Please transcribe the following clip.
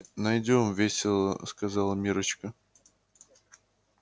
найдём весело сказала миррочка